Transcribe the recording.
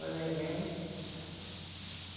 Foi vendendo.